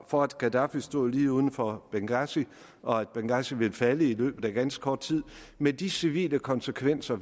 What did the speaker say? for at gaddafi stod lige uden for benghazi og at benghazi ville falde i løbet af ganske kort tid med de civile konsekvenser